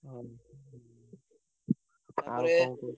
ହଁ